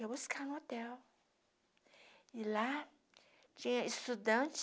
Eu ia buscar no hotel, e lá tinha estudante